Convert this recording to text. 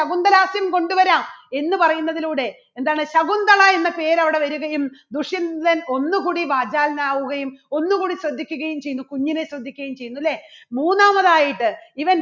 ശകുന്തലാസ്യം എന്ന് പറയുന്നതിലൂടെ എന്താണ് ശകുന്തള എന്ന പേര് അവിടെ വരികയും ദുഷ്യന്തൻ ഒന്നുകൂടി വാചാലൻ ആവുകയും ഒന്നുകൂടി ശ്രദ്ധിക്കുകയും ചെയ്യുന്നു കുഞ്ഞിനെ ശ്രദ്ധിക്കുകയും ചെയ്യുന്നു. അല്ലേ? മൂന്നാമതായിട്ട് ഇവൻ